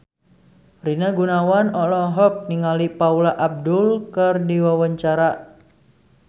Rina Gunawan olohok ningali Paula Abdul keur diwawancara